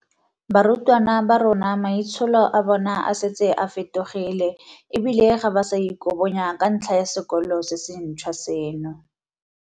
Barutwana ba rona maitsholo a bona a setse a fetogile e bile ga ba sa ikobonya ka ntlha ya sekolo se sentšhwa seno.